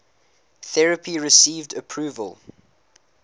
therapy received approval